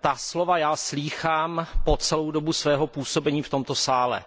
ta slova já slýchám po celou dobu svého působení v tomto parlamentu.